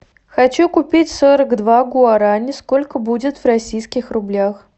хочу купить сорок два гуарани сколько будет в российских рублях